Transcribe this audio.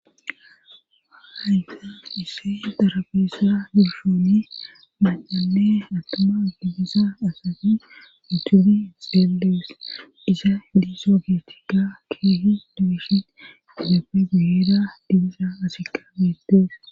hahaysa isse darabeessa dushooni macale attama dibisa asati utubi xeelees isa diiso geetikka keehi dugishi izaappe guyira dibisa asika beettees